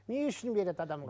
не үшін береді адамға